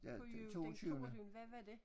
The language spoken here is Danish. På jul den toogtyvende hvad var det?